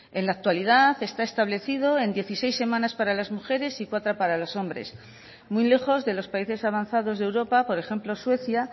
en la actualidad está establecido en dieciséis semanas para las mujeres y cuatro para los hombres muy lejos de los países avanzados de europa por ejemplo suecia